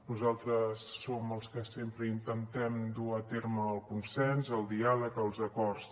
nosaltres som els que sempre intentem dur a terme el consens el diàleg els acords